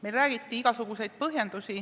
Meile toodi igasuguseid põhjendusi.